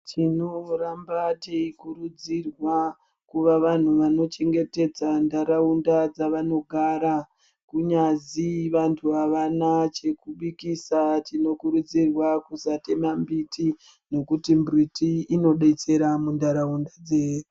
Tinoramba teikurudzirwa kuva vanhu vanochengetedza ntaraunda dzavanogara. kunyazi vantu havana chekubikisa tinokurudzirwa kusatema mbiti nekuti mbiti inodetsera muntaraunda dzedu.